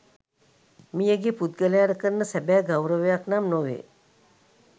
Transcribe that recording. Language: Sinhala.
මියගිය පුද්ගලයාට කරන සැබෑ ගෞරවයක් නම් නොවේ.